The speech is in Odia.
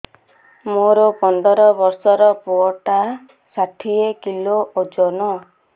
ମୋର ପନ୍ଦର ଵର୍ଷର ପୁଅ ଟା ଷାଠିଏ କିଲୋ ଅଜନ